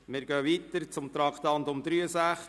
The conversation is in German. Wir gehen weiter zu Traktandum 63.